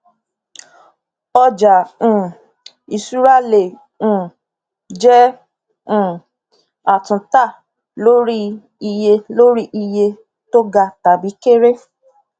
ọjà um ìṣúra le um jẹ um àtúntà lórí iye lórí iye tó ga tàbí kere